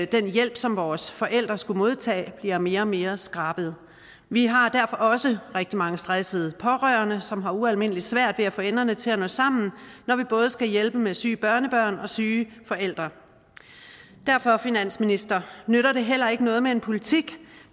den hjælp som vores forældre skulle modtage bliver mere og mere skrabet vi har derfor også rigtig mange stressede pårørende som har ualmindelig svært ved at få enderne til at nå sammen når de både skal hjælpe med syge børnebørn og syge forældre derfor finansminister nytter det heller ikke noget med en politik